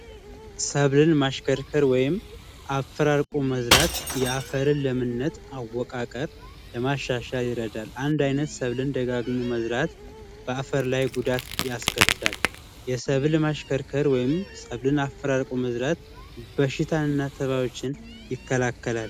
ሰብልን ማሽከርከር ወይም አፈራርቆ መዝራት የአፈርን ለምነት አወቃቀር ለማሻሻል ይረዳል። አንድ አይነት ሰብልን ደጋግሞ መዝራት በአፈር ላይ ጉዳት ያስከትላል። የሰብል ማሽከርከር ወይም ሰብልን አፈራርቆ መዝራት በሽታን እና ተባዮችን ይከላከላል።